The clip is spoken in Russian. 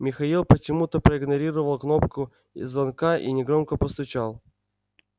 михаил почему-то проигнорировал кнопку звонка и негромко постучал